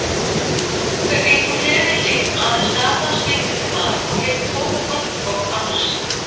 Þau gengu hlið við hlið, aðeins gatan skildi þau að, og heyrðu fótatak hvort annars.